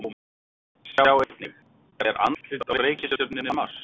Sjá einnig: Er andlit á reikistjörnunni Mars?